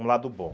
Um lado bom.